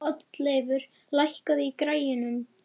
Oddleifur, lækkaðu í græjunum.